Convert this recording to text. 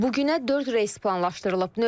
Bu günə dörd reys planlaşdırılıb.